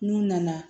N'u nana